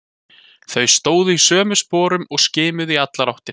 Þau stóðu í sömu sporum og skimuðu í allar áttir.